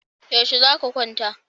Yaushe za ka kwanta?